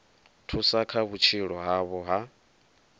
thusa kha vhutshilo havho ha